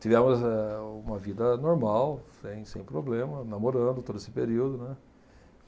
Tivemos eh uma vida normal, sem sem problema, namorando todo esse período, né.